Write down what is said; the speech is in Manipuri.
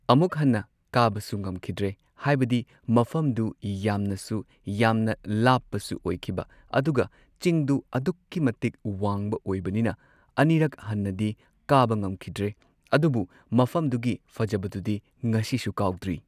ꯑꯃꯨꯛ ꯍꯟꯅ ꯀꯥꯕꯁꯨ ꯉꯝꯈꯤꯗ꯭ꯔꯦ ꯍꯥꯏꯕꯗꯤ ꯃꯐꯝꯗꯨ ꯌꯥꯝꯅꯁꯨ ꯌꯥꯝꯅ ꯂꯥꯞꯄꯁꯨ ꯑꯣꯏꯈꯤꯕ ꯑꯗꯨꯒ ꯆꯤꯡꯗꯨ ꯑꯗꯨꯛꯀꯤ ꯃꯇꯤꯛ ꯋꯥꯡꯕ ꯑꯣꯏꯕꯅꯤꯅ ꯑꯅꯤꯔꯛ ꯍꯟꯅꯗꯤ ꯀꯥꯕ ꯉꯝꯈꯤꯗ꯭ꯔꯦ ꯑꯗꯨꯕꯨ ꯃꯐꯝꯗꯨꯒꯤ ꯐꯖꯕꯗꯨꯗꯤ ꯉꯁꯤꯁꯨ ꯀꯥꯎꯗ꯭ꯔꯤ